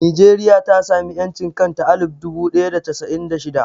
Nijeriya ta sami ƴancin kanta a alif dubu ɗaya da casa'in da shida